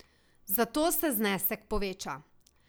Zato se znesek poveča.